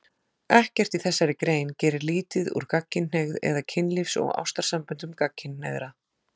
Ekkert í þessari grein gerir lítið úr gagnkynhneigð eða kynlífs- og ástarsamböndum gagnkynhneigðra.